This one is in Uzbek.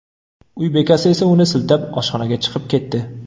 Uy bekasi esa uni siltab, oshxonaga chiqib ketdi.